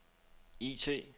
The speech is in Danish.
IT